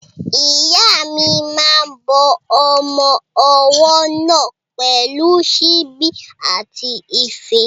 Ìyá mi máa ń bọ́ ọmọ ọwọ́ náà pẹ̀lú síbí àti ife.